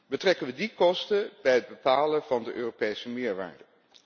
Betrekken we die kosten bij het bepalen van de Europese meerwaarde?